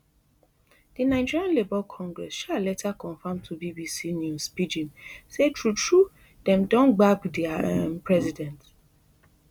di nigeria labour congress um later confam to bbc news pidgin say true true dem don gbab dia um president